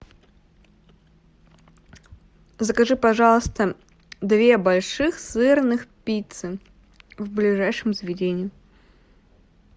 закажи пожалуйста две больших сырных пиццы в ближайшем заведении